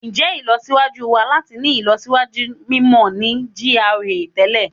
Njẹ ilọsiwaju wa lati ni ilọsiwaju mimọ ni GRA tẹlẹ?